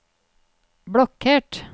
blokkert